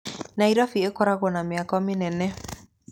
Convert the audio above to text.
Nairobi ĩkoragwo na mĩako mĩnene.